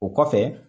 O kɔfɛ